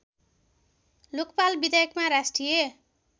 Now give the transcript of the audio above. लोकपाल विधेयकमा राष्ट्रिय